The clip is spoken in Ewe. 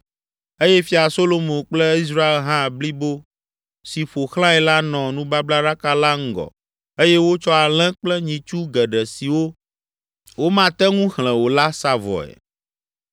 eye Fia Solomo kple Israel ha blibo si ƒo xlãe la nɔ nubablaɖaka la ŋgɔ eye wotsɔ alẽ kple nyitsu geɖe siwo womate ŋu xlẽ o la sa vɔe.